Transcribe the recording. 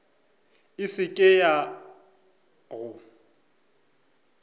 e se ke ya go